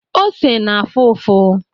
Ose na-afụ ụfụ.